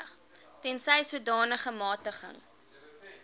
tensy sodanige magtiging